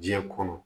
Diɲɛ kɔnɔ